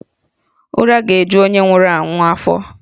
Ụra ga-eju onye nwụrụ anwụ afọ